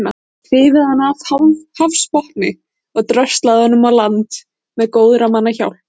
Þau höfðu hrifið hann af hafsbotni og dröslað honum í land með góðra manna hjálp.